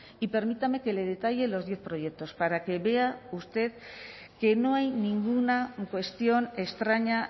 y permítame que le detalle los diez proyectos para que vea usted que no hay ninguna cuestión extraña